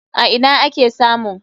A ina ake samun?